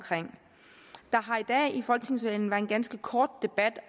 der har i dag i folketingssalen været en ganske kort debat